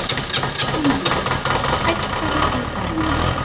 Olivia, hækkaðu í græjunum.